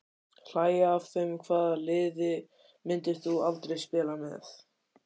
Hlægja af þeim Hvaða liði myndir þú aldrei spila með?